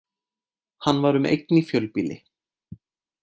Hann var um eign í fjölbýli